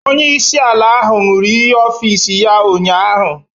Onyeisi ala ahụ ṅụrụ iyi ọfịs ya ụnyaahụ